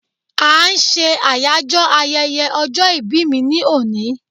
a n se Ayajo ayẹyẹ ọjọ ìbí mi ni oni